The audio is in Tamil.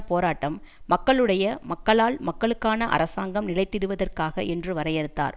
போராட்டம் மக்களுடைய மக்களால் மக்களுக்கான அரசாங்கம் நிலைத்திடுவதற்காக என்று வரையறுத்தார்